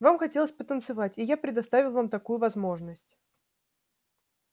вам хотелось потанцевать и я предоставил вам такую возможность